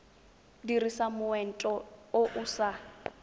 dirisa moento o o sa